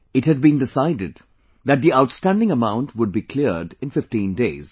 It had been decided that the outstanding amount would be cleared in fifteen days